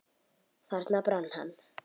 Þarna brann hann.